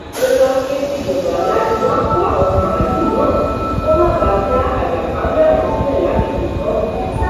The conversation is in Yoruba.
ó wáá ké síjọba láti wáá kó àwọn màlúù náà kó má bàa dá àjàkálẹ àrùn sílẹ lágbègbè náà